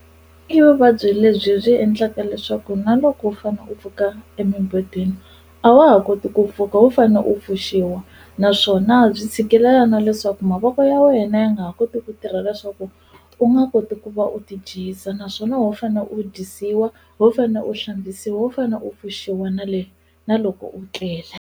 I vuvabyi lebyi byi endlaka leswaku na loko u fane u pfuka emimbedweni a wa ha koti ku pfuka ho fane u pfuxiwa naswona byi tshikelela na leswaku mavoko ya wena ya nga ha koti ku tirha leswaku u nga koti ku va u ti dyisa naswona ho fane u dyisiwa ho fane u hlambisiwa ho fane u pfuxiwa na le na loko u tlele.